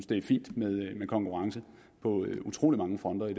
det er fint med konkurrence på utrolig mange fronter i